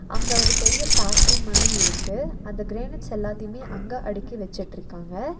அங்க ஒரு பெரிய ஃபேக்டரி மாரி இருக்கு அந்த கிரானைட்ஸ் எல்லாத்தைமே அங்க அடுக்கி வச்சுட்ருக்காங்க.